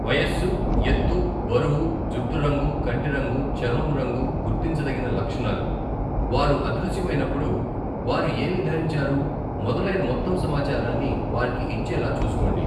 వయస్సు, ఎత్తు, బరువు, జుట్టు రంగు, కంటి రంగు, చర్మం రంగు, గుర్తించదగిన లక్షణాలు, వారు అదృశ్యమైనప్పుడు వారు ఏమి ధరించారు మొదలైన మొత్తం సమాచారాన్ని వారికి ఇచ్చేలా చూసుకోండి.